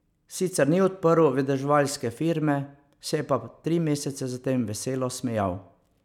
Sicer ni odprl vedeževalske firme, se je pa tri mesece zatem veselo smejal.